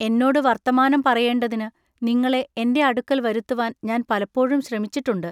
എന്നോടു വർത്തമാനം പറയെണ്ടതിനു നിങ്ങളെ എന്റെ അടുക്കൽ വരുത്തുവാൻ ഞാൻ പലപ്പോഴും ശ്രമിച്ചിട്ടുണ്ടു.